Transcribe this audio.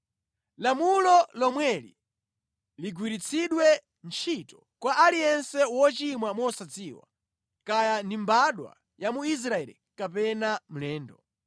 Lamulo lomweli ligwiritsidwe ntchito kwa aliyense wochimwa mosadziwa, kaya ndi mbadwa ya mu Israeli kapena mlendo.